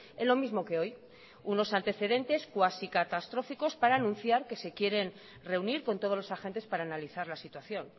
en lo mismo que hoy unos antecedentes cuasi catastróficos para anunciar que se quieren reunir con todos los agentes para analizar la situación